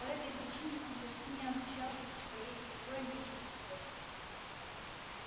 по этой причине он почти не общался со своей сестрой мисс питтипэт